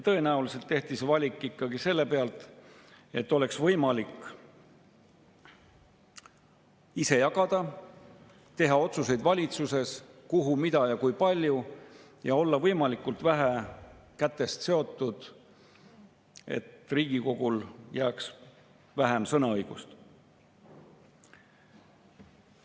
Tõenäoliselt tehti see valik ikkagi selle pealt, et oleks võimalik ise jagada, teha otsuseid valitsuses, kuhu, mida ja kui palju, et olla võimalikult vähe kätest seotud, et Riigikogule jääks vähem sõnaõigust.